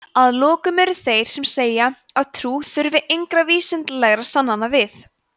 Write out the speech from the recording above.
að lokum eru þeir sem segja að trú þurfi engra vísindalegra sannana við